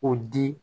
O di